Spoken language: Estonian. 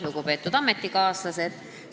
Lugupeetud ametikaaslased!